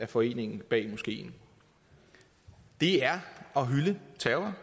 foreningen bag moskeen det er at hylde terrror